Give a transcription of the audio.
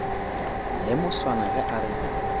la moswana ge a re